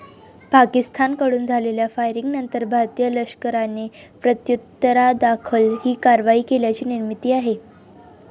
पाकिस्तानकडून झालेल्या फायरिंगनंतर भारतीय लष्कराने प्रत्युत्तरादाखल ही कारवाई केल्याची माहिती आहे.